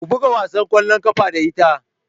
Ku buga wasan ƙwallon ƙafa da ita!